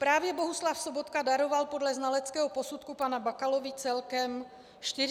Právě Bohuslav Sobotka daroval podle znaleckého posudku panu Bakalovi celkem 47 miliard.